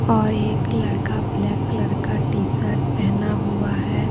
और एक लड़का ब्लैक कलर का टीशर्ट पहना हुआ है।